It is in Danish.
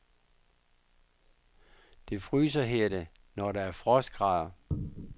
Det fryser, hedder det, når der er frostgrader.